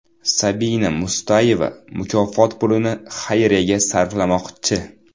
Sabina Mustayeva mukofot pulini xayriyaga sarflamoqchi.